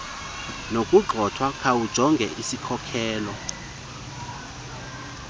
nokugxothwa khawujonge isikhokelo